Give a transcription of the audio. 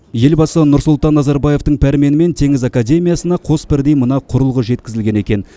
елбасы нұрсұлтан назарбаевтың пәрменімен теңіз академиясына қос бірдей мына құрылғы жеткізілген екен